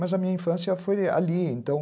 Mas a minha infância foi ali, então